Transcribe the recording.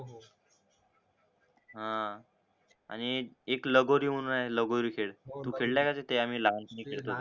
हा आणि एक लगोरी म्हणून आहे लगोरी खेळ तू खेळलाय का तीते लहान पाणी खेळात होतो